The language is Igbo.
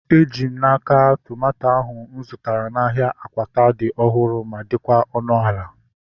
Eji m n'aka, tomato ahu mụ zụtara n'ahia Akwata dị ọhụrụ ma dịkwa ọnụ ala